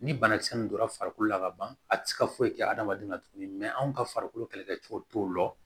Ni banakisɛ nin donra farikolo la ka ban a ti se ka foyi kɛ adamaden na tuguni anw ka farikolo kɛlɛkɛcɛw t'o lɔ